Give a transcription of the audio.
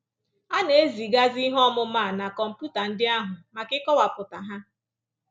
A na-ezigazi ihe ọmụma a na kọmputa ndị ahụ maka ịkọwapụta ha